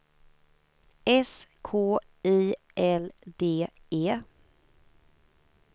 S K I L D E